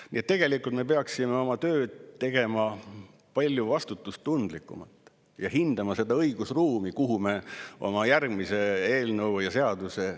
Nii et tegelikult me peaksime oma tööd tegema palju vastutustundlikumalt ja hindama seda õigusruumi, kuhu me oma järgmise eelnõu ja seaduse sätime.